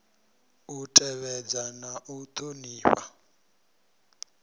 u tevhedza na u ṱhonifha